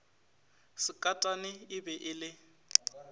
sekatane e be e le